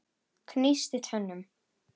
Gnísti tönnum.